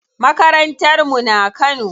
Makarantar mu na Kano.